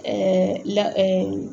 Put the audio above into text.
la